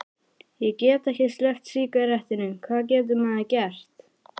Ég get ekki sleppt sígarettunum, hvað getur maður gert?